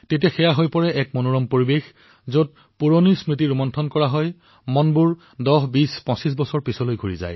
এই সন্মিলনত ১০ বছৰ ২০ বছৰ ২৫ বছৰ ধৰি যোগাযোগৰ সুবিধা নথকা লোকসকলে মিলিত হৈ পুৰণি স্মৃতি ৰোমন্থন কৰে